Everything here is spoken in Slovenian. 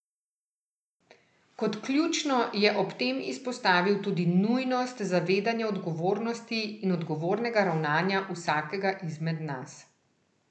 Kot ključno je ob tem izpostavil tudi nujnost zavedanja odgovornosti in odgovornega ravnanja vsakega izmed nas.